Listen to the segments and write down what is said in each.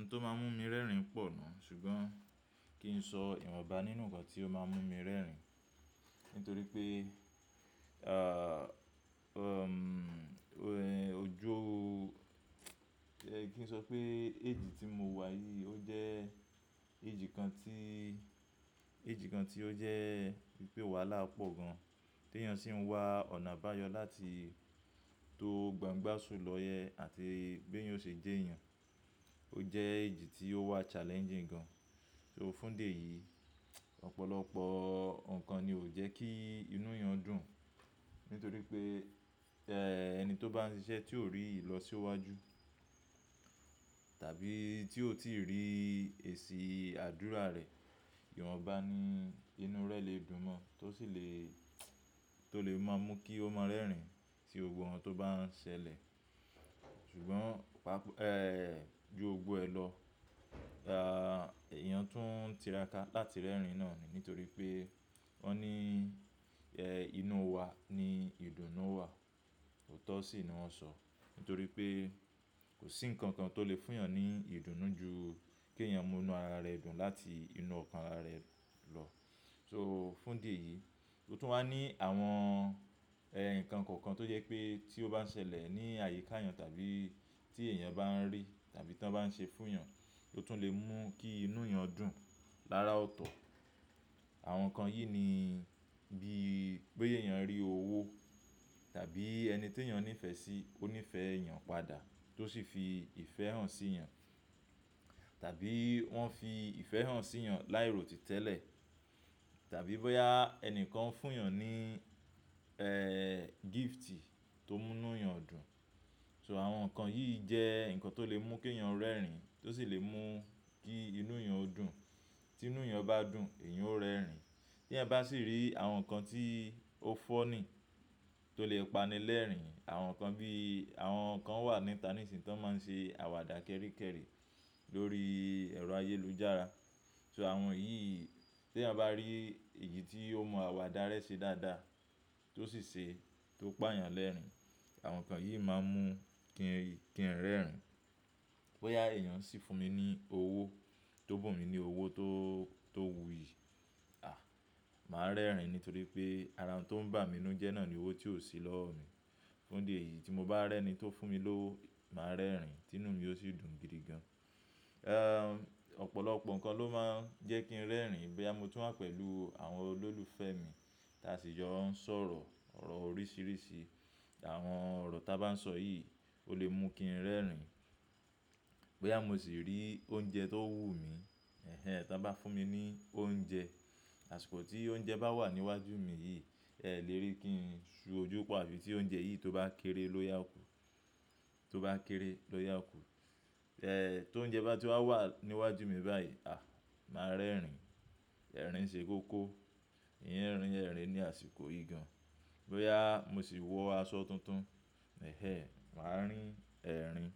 Nǹ to máa ń mú mi rẹ́rìn pọ̀ náà, ṣùgbọ́n kí n sọ ìwọ̀nba nínú nǹkan tí ó máa ń mú mi rẹ́rìn. Nítorí pé, aa ọ, ẹ̀, ojú, ẹ kí n sọ pé age tí mo wà yìí, ó jẹ́ age kan tí, age kan tí ó jẹ́ pípé wàhálà pọ̀ gan-an tí èèyàn sì ń wá ọ̀nà bá yọ láti tó gbangbá sùn lọyẹ àti b'éyan ó sì jẹ́ èèyàn. Ó jẹ́ èjì tí ó wà challenging gan. So, fún di yìí, ọ̀pọ̀lọpọ̀ nǹkan ni ó jẹ́ kí inú èèyàn dùn. Nítorí pé, eẹ́, ẹni tó bá ń ṣiṣẹ́ tí ò rí ìlọsíwájú tàbí tí ò tíì rí èsì àdúrà rẹ̀, ìwọ̀nba ni inú rẹ̀ lè dùn mọ́n, tó sì lè, tó lè máa mú kí ó ma rẹ́rìn si gbogbo nkan tó bá ń ṣẹlẹ̀. Ṣùgbọ́n, pàpa, ẹ́, ju ogbó ẹ lọ, à, èèyàn tún ń tiraka láti rẹ́rìn náà ni. Nítorí pé wọ́n ní, ẹ́, inú wa ni ìdùnnú wà, òótọ́ sì ni wọ́n sọ. Nítorí pé kò sí nǹkan kan tó lè fún èèyàn ní ìdùnnú ju k'èèyàn mú inú ara rẹ̀ dùn láti inú ọkàn ara rẹ̀ lọ. So fún dè yìí, ó tún wà ní àwọn, ẹ́, nǹkan kọ̀ọ̀kan tó jẹ́ pé tí ó bá ń ṣẹlẹ̀ ní àyíká èèyàn tàbí tí èèyàn bá ń rí tàbí tí wọ́n bá ń ṣe fún èèyàn, ó tún lè mú kí inú èèyàn dùn lára ọ̀tọ̀. Àwọn nǹkan yìí ni bí boya èèyàn rí owó tàbí ẹni tí èèyàn ní ìfẹ́ sí, ó ní ìfẹ́ èèyàn padà tó sì fi ìfẹ́ hàn sí'yàn. Tàbí wọ́n fi ìfẹ́ hàn sí èèyàn láì ròtì tẹ́lẹ̀. Tàbí bóyá ẹnìkan fún èèyàn ní, ẹ́, gifti tó mú inú èèyàn dùn. So àwọn nǹkan yìí jẹ́ nǹkan tó lè mú k'èèyàn rẹ́rìn tó sì lè mú kí inú èèyàn dùn. Tí inú èèyàn bá dùn, èèyàn ó rẹ́rìn. Tí èèyan bá sì rí àwọn nǹkan tí ó fọ́ni tó lè pani lẹ́rìnìń, àwọn nǹkan bí, àwọn nǹkan wà níta ní ìsìn tó máa ń ṣe àwàdà kẹ́rikẹ́ri lórí ẹ̀rọ ayélujára. So àwọn yìí, tí èèyàn bá rí èyi tí ó mọn àwàdà rẹ́ ṣe dáadáa tó sì ṣe, tó pa èèyàn lẹ́rìnìń, àwọn nǹkan yìí máa ń mú kí n, kí n rẹ́rìn. Bóyá èèyàn sì fún mi ní owó, tó bùn mi ní owó tó, tó wùyí, àh! Màá rẹ́rìn. Nítorí pé arà n tó ń bà mí ninú jẹ́ náà ni owó tí ò sí lọ́wọ́ mi. Fún idi eyìí tí mo bá rẹ́ni tó fún mi lówó, màá rẹ́rìn, tí inú mi yóò sì dùn gidi gan. Ẹ́, ọ̀pọ̀lọpọ̀ nǹkan ló máa ń jẹ́ kí n rẹ́rìn. Bóyá mo tún wà pẹ̀lú àwọn olólùfẹ́ mi tí a sì n jọ ń sọ̀rọ̀ ọ̀rọ̀ oríṣìíríṣìí. Àwọn ọ̀rọ̀ táa bá ń sọ yìí ó lè mú kí n rẹ́rìn. Bóyá mo sì rí oúnjẹ tó wù mí, ẹhẹ́n, tí wọ́n bá fún mi ní oúnjẹ, àsìkò tí oúnjẹ bá wà níwájú mi yìí, ẹ lè rí kí n ṣú ojú pọ̀, àbí tí oúnjẹ yìí tó bá kéré lóya kù, tó bá kéré lóya kù. Ẹ́, tó oúnjẹ bá ti wá wà níwájú mi báyìí, àh, màá rẹ́rìn. Ẹ̀rín ṣe kókó, ìyẹn rín ẹ̀rín ní àsìkò yìí gan. Bóyá mo sì wọ aṣọ tuntun, ẹhẹ́n, màá rín ẹ̀rín.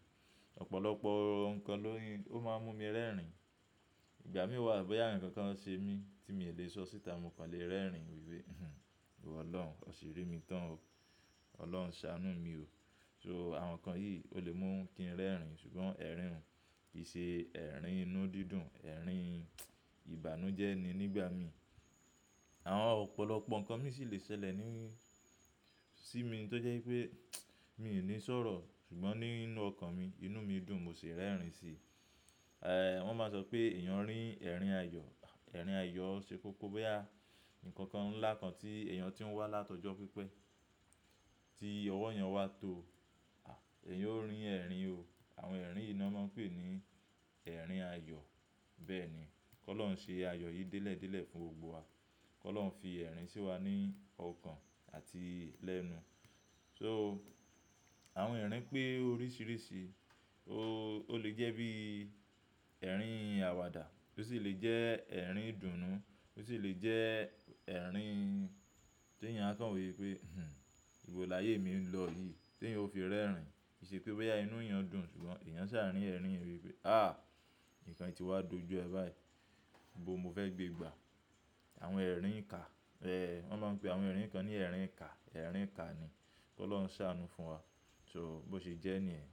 Ọ̀pọ̀lọpọ̀ nǹkan ló ń, ó máa ń mú mi rẹ́rìn. Ìgbà mí wà bóyá nǹkan kan ṣe mí tí mi ò lè sọ síta, mo kọ́ lè rẹ́rìn wí pé, "Huhn, ìwọ Ọlọ́run, ọ sì rí mi tán o. Ọlọ́run ṣàánú mi o." So àwọn nǹkan yìí ó lè mú kí n rẹ́rìn. Ṣùgbọ́n ẹ̀rín un, kì í ṣe ẹ̀rín inú dídùn, ẹ̀rín ìbànújẹ́ ni nígbà mín. Àwọn ọ̀pọ̀lọpọ̀ nǹkan mi sì lè ṣẹlẹ̀ ní, sí mi tó jẹ́ wípé, mí ò ní sọ̀rọ̀, ṣùgbọ́n nínú ọkàn mi, inú mi dùn, mo sì rẹ́rìn si. Ẹ̀, wọ́n máa ń sọ pé èèyàn rín ẹ̀rín ayọ̀, ẹ̀rín ayọ̀ ṣe kókó bóyá nǹkan ńlá kan tí èèyàn ti ń wá látọ̀jọ́ pípẹ́, tí ọwọ́ èèyàn wà tó, àh, èèyàn ó rín ẹ̀rín o. Àwọn ẹ̀rín yìí ni wọ́n máa ń pè ní ẹ̀rín ayọ̀. Bẹ́ẹ̀ ni, kó lọ́ ń ṣe ayọ̀ yìí délẹ̀délẹ̀ fún gbogbo wa. Kó Olọ́uń fi ẹ̀rín sí wa ní ọkàn àti lẹ́nu. So àwọn ẹ̀rín pé oríṣìíríṣìí. O lè jẹ́ bí ẹ̀rín àwàdà, ó sì lè jẹ́ ẹ̀rín idùnnú, ó sì lè jẹ́ ẹ̀rín tí èèyàn á kàn wí pé, "Huhn, ìwọ lààyè mi ń lọ yìí?" Tí èèyàn ó fi rẹ́rìn, kì í ṣe pé bóyá inú èèyàn dùn, ṣùgbọ́n èèyàn ṣààrín ẹ̀rín wí pé, "Ahh! Nǹkan yi ti wá dojú ẹ báyìí. Ibo n mo fẹ́ gbé gbà?" Àwọn ẹ̀rín ika, rẹ́, wọ́n máa ń pe àwọn ẹ̀rín kan ní ẹ̀rín ika. Ẹ̀rín ika ni kó Olọ́uń ṣàánú fún wa. So bó ṣe jẹ́ ní yẹ̀n.